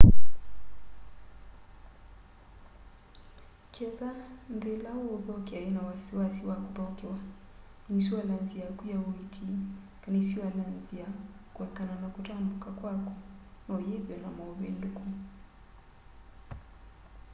kethwa nthĩ ĩla ũũthokea yĩna wasiwasi wa kũthokewa ĩnisualanzĩ yakũ ya ũĩĩti kana ĩnisualanzĩ ya kũekana na kũtambũka kwakũ noyĩthwe na maũvĩndũkũ